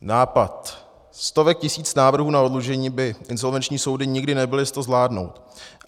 Nápad stovek tisíc návrhů na oddlužení by insolvenční soudy nikdy nebyly s to zvládnout.